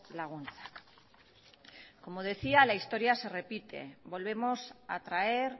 laguntzak como decía la historia se repite volvemos a traer